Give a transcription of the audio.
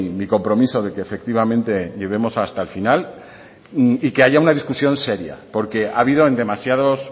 mi compromiso de que efectivamente lleguemos hasta el final y que haya una discusión seria porque ha habido en demasiados